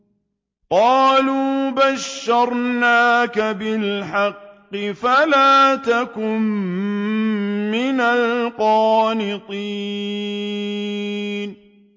قَالُوا بَشَّرْنَاكَ بِالْحَقِّ فَلَا تَكُن مِّنَ الْقَانِطِينَ